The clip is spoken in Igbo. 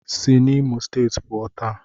Si n'Imo steeti puo, taa!